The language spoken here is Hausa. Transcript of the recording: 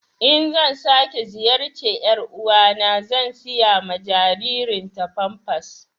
In zan sake ziyarce yar'uwa na zan sayi ma jaririn ta pampers